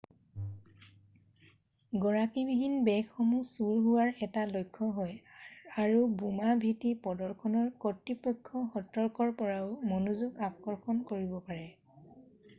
গৰাকীবিহীন বেগসমূহ চুৰ হোৱাৰ এটা লক্ষ্য হয় আৰু বোমা ভীতি প্ৰদৰ্শনৰ কৰ্তৃপক্ষ সতৰ্কৰ পৰাও মনোযগ আকৰ্ষণ কৰিব পাৰে৷